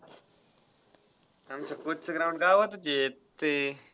आमच्या coach चं ground गावातच आहे ते.